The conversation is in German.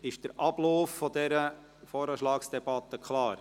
Ist der Ablauf dieser Voranschlagsdebatte klar?